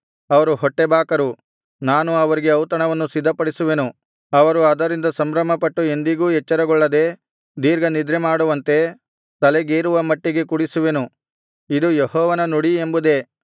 ಅವರು ಹೊಟ್ಟೆಬಾಕರು ನಾನು ಅವರಿಗೆ ಔತಣವನ್ನು ಸಿದ್ಧಪಡಿಸುವೇನು ಅವರು ಅದರಿಂದ ಸಂಭ್ರಮಪಟ್ಟು ಎಂದಿಗೂ ಎಚ್ಚರಗೊಳ್ಳದೆ ದೀರ್ಘನಿದ್ರೆಮಾಡುವಂತೆ ತಲೆಗೇರುವ ಮಟ್ಟಿಗೆ ಕುಡಿಸುವೆನು ಇದು ಯೆಹೋವನ ನುಡಿ ಎಂಬುದೇ